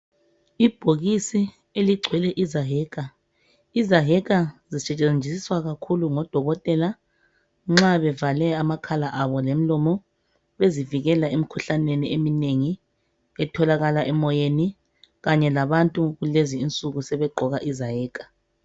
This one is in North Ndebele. Ibhokisi eligcwele izaheka. Izaheka zisetshenziswa kakhulu ngodokotela nxa bevale amakhala abo lomlomo bezivikela emikhuhlaneni eminengi etholakala emoyeni kanye labantu kulezi insuku sebegqoka izaheka.